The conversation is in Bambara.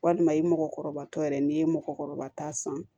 Walima i mɔgɔkɔrɔba tɔ yɛrɛ n'i ye mɔgɔkɔrɔba ta san